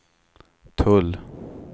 tull